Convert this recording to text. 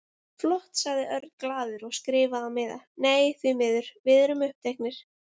Flott sagði Örn glaður og skrifaði á miða: Nei, því miður, við erum uppteknir